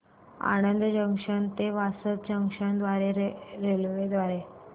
Anand junction ते Vasad junction railway द्वारे